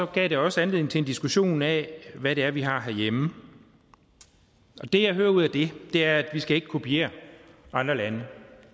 gav det også anledning til en diskussion af hvad det er vi har herhjemme det jeg hører ud af det er at vi ikke skal kopiere andre lande